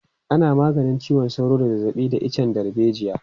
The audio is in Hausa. Ana maganin ciwon sauro da zazzabi da icen darbejiya.